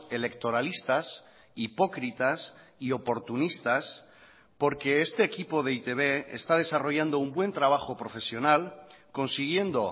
electoralistas hipócritas y oportunistas porque este equipo de e i te be está desarrollando un buen trabajo profesional consiguiendo